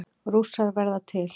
Rússar verða til